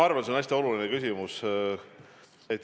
Arvan, see on hästi oluline küsimus.